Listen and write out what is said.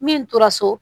Min tora so